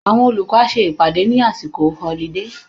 Àwọn olùkọ́ á ṣe ìpàdé ní àsìkò họlidé